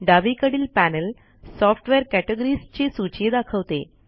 डावीकडील panel software categories ची सूची दाखवते